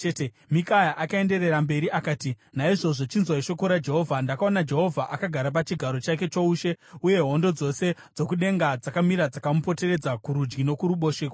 Mikaya akaenderera mberi akati, “Naizvozvo chinzwai shoko raJehovha: Ndakaona Jehovha akagara pachigaro chake choushe, uye hondo dzose dzokudenga dzakamira dzakamupoteredza kurudyi nokuruboshwe kwake.